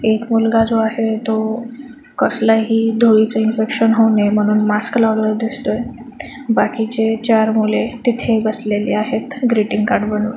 एक मुलगा जो आहे तो कसलही धुळीचे इन्फेकशन होऊ नये म्हणून मास्क लावलेला दिसतोय बाकीचे चार मुले तिथे बसलेले आहेत ग्रीटिंग कार्ड बनवत.